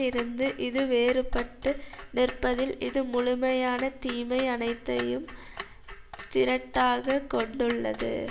இருந்து இது வேறுபட்டு நிற்பதில் இது முழுமையான தீமை அனைத்தையும் திரட்டாக கொண்டுள்ளது